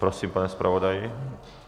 Prosím, pane zpravodaji.